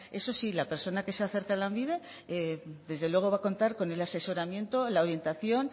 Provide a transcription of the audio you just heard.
eso sí la persona que se acerca a lanbide desde luego va a contar con el asesoramiento la orientación